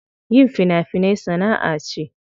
Yin fina finai sana'a ce.